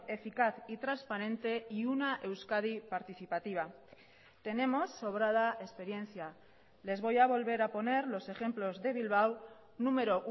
eficaz y transparente y una euskadi participativa tenemos sobrada experiencia les voy a volver a poner los ejemplos de bilbao número